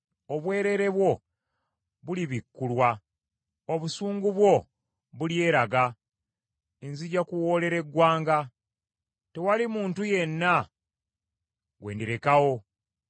Obwereere bwo bulibikkulwa; obusungu bwo bulyeraga. Nzija kuwoolera eggwanga; tewali muntu yenna gwe ndirekawo.”